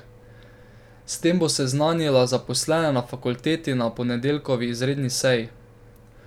S tem bo seznanila zaposlene na fakulteti na ponedeljkovi izredni seji.